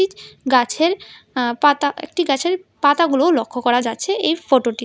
গাছের অ্যা পাতা একটি গাছের পাতাগুলোও লক্ষ করা যাচ্ছে এই ফটোটিতে।